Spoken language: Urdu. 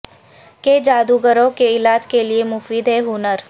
کہ جادوگروں کے علاج کے لئے مفید ہیں ہنر